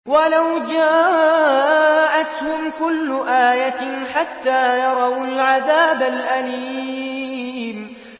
وَلَوْ جَاءَتْهُمْ كُلُّ آيَةٍ حَتَّىٰ يَرَوُا الْعَذَابَ الْأَلِيمَ